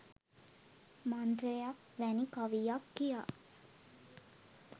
මන්ත්‍රයක් වැනි කවියක් කියා